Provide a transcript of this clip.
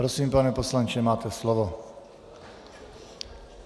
Prosím, pane poslanče, máte slovo.